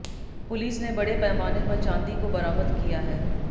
police ने बड़े पैमाने पर चांदी को बरामद किया है